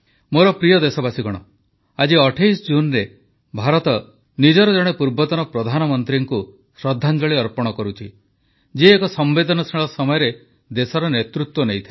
ମୋର ପ୍ରିୟ ଦେଶବାସୀଗଣ ଆଜି 28 ଜୁନରେ ଭାରତ ନିଜର ଜଣେ ପୂର୍ବତନ ପ୍ରଧାନମନ୍ତ୍ରୀଙ୍କୁ ଶ୍ରଦ୍ଧାଞ୍ଜଳି ଅର୍ପଣ କରୁଛି ଯିଏ ଏକ ସମ୍ବେଦନଶୀଳ ସମୟରେ ଦେଶର ନେତୃତ୍ୱ ନେଇଥିଲେ